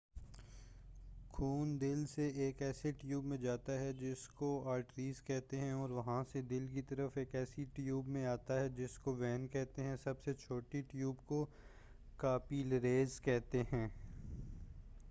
خون دل سے ایک ایسے ٹیوب میں جاتا ہے جس کو آرٹریز کہتے ہیں اور وہاں سے دل کی طرف ایک ایسے ٹیوب میں آتا ہے جس کو وین کہتے ہیں سب سے چھوٹے ٹیوب کو کاپی لریز کہتے ہیں